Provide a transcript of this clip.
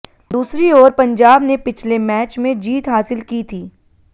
दूसरी ओर पंजाब ने पिछले मैच में जीत हासिल की थी